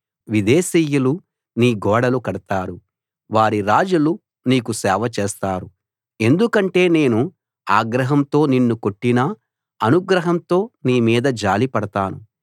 విదేశీయులు నీ గోడలు కడతారు వారి రాజులు నీకు సేవ చేస్తారు ఎందుకంటే నేను ఆగ్రహంతో నిన్ను కొట్టినా అనుగ్రహంతో నీ మీద జాలిపడతాను